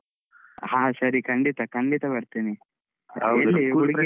ಹ ಸರಿ ಖಂಡಿತಾ ಖಂಡಿತಾ ಬರ್ತೀನಿ, ಎಲ್ಲಿ ಹುಡುಗಿ ಎಲ್ಲಿಂದ?